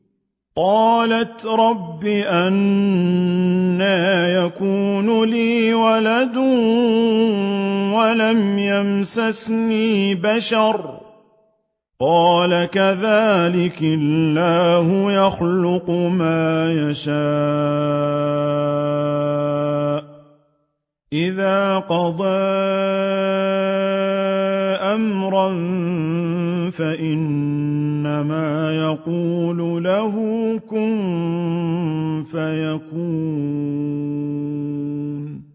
قَالَتْ رَبِّ أَنَّىٰ يَكُونُ لِي وَلَدٌ وَلَمْ يَمْسَسْنِي بَشَرٌ ۖ قَالَ كَذَٰلِكِ اللَّهُ يَخْلُقُ مَا يَشَاءُ ۚ إِذَا قَضَىٰ أَمْرًا فَإِنَّمَا يَقُولُ لَهُ كُن فَيَكُونُ